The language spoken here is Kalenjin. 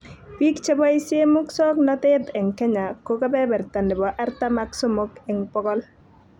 Biik cheboisie musoknotet eng Kenya ko kebeberta nebo artam ak somok eng bokol